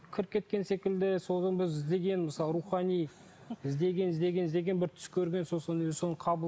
кіріп кеткен секілді соны біз ізденген мысалы рухани іздеген іздеген іздеген бір түс көрген сосын